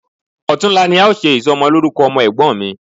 Ọ̀tunla ni a ó ṣe ìsọmọlórúkọ ọmọ Ẹ̀gbọ́n mi